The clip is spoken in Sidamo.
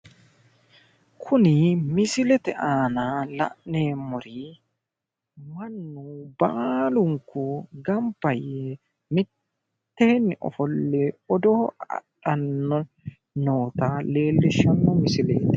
Kuni misilete aana la'neemmori mannu baalunku gamba yee mitteenni ofolle odoo adhanni noota leellishshanno misileeti.